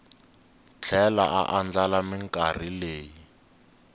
tlhela a andlala minkarhi leyi